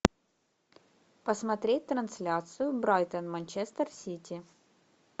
посмотреть трансляцию брайтон манчестер сити